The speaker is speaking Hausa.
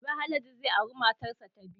Gobe Haladu zai aure matar sa ta biyu